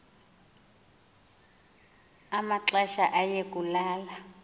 amaxesha aye kulala